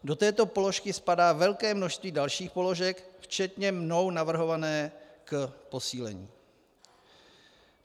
Do této položky spadá velké množství dalších položek, včetně mnou navrhované k posílení.